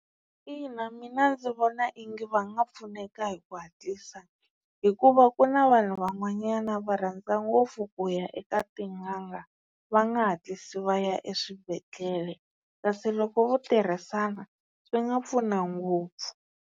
Ina mina ndzi vona ingi va nga pfuneka hi ku hatlisa, hikuva ku na vanhu van'wanyana va rhandza ngopfu ku ya eka tin'anga va nga hatlisi va ya eswibedhlele kasi loko vo tirhisana swi nga pfuna ngopfu.